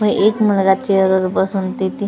व एक मुलगा चेअरवर बसून तिथे कशाचे तरी --